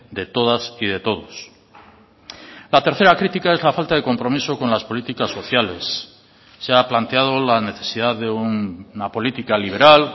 de todas y de todos la tercera crítica es la falta de compromiso con las políticas sociales se ha planteado la necesidad de una política liberal